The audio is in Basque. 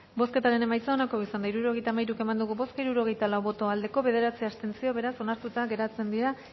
bozketaren emaitza onako izan da hirurogeita hamairu eman dugu bozka hirurogeita lau boto aldekoa bederatzi abstentzio beraz onartuta geratzen dira